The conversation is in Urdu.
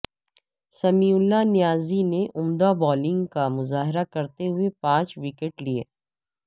سمیع اللہ نیازی نے عمدہ بالنگ کا مظاہرہ کرتے ہوئے پانچ وکٹ لیے